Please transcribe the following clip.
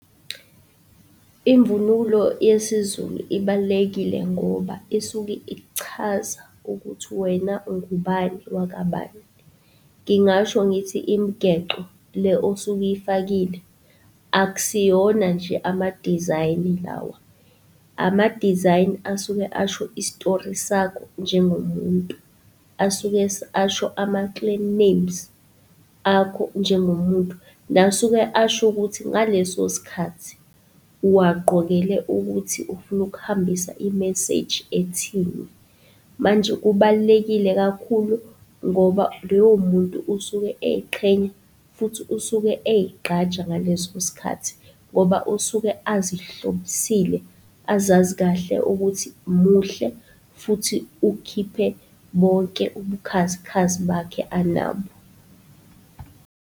Imvunulo yesiZulu ibalulekile ngoba isuke ichaza ukuthi wena ungubani wakabani. Ngingasho ngithi, imigexo le osuke uyifakile, akusiyona nje ama-design lawa, ama-design asuke asho isitori sakho njengomuntu. Asuke asho ama-clan names akho njengomuntu. Nasuke asho ukuthi ngaleso sikhathi, uwagqokele ukuthi ufuna ukuhambisa i-message ethini. Manje kubalulekile kakhulu ngoba loyo muntu usuke ey'qhenya, futhi usuke ezigqaja ngaleso sikhathi, ngoba usuke azihlobisile, azazi kahle ukuthi muhle, futhi ukhiphe bonke ubukhazikhazi bakhe anabo.